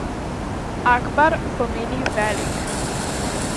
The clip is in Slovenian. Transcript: Akbar pomeni velik.